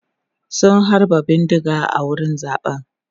sun halba bindiga a wurin zaɓen